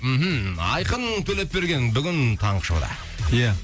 мхм айқын төлепберген бүгін таңғы шоуда ия